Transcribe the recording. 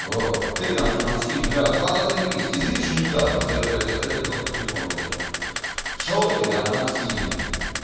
вот ты там что максим бля хата заебись извини что не взял просто я блять отходил только к телефону подошёл что ты там максим